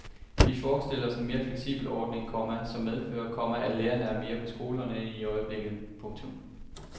Vi forestiller os en mere fleksibel ordning, komma som medfører, komma at lærerne er mere på skolerne end i øjeblikket. punktum